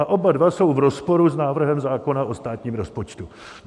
A oba dva jsou v rozporu s návrhem zákona o státním rozpočtu.